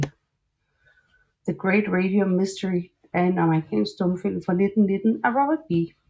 The Great Radium Mystery er en amerikansk stumfilm fra 1919 af Robert B